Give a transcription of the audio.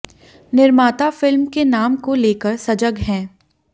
निर्माता फिल्म के नाम को लेकर सजग हैं